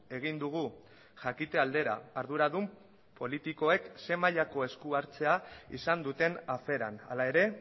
egin dugu jakite aldera arduradun politikoek ze mailako eskuhartzea izan duten aferan hala ere